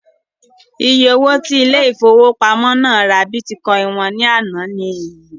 Iye owó tí ilé ìfowópamọ́ náà ra bítíkọìnì wọn ní àná ni èyí